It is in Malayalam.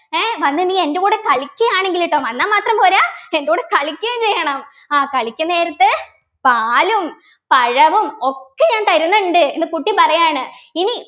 ഏഹ് വന്നു നീ എൻ്റെ കൂടെ കളിക്കുകയാണെങ്കിൽ ട്ടോ വന്നാ മാത്രം പോരാ എൻ്റെ കൂടെ കളിക്കുകയും ചെയ്യണം ആ കളിക്കും നേരത്ത് പാലും പഴവും ഒക്കെ ഞാൻ തരുന്നുണ്ട് എന്ന് കുട്ടി പറയാണ് ഇനി